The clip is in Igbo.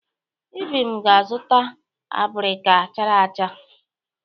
Ibim ga-azụta abirika chara acha.